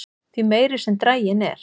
því meiri sem draginn er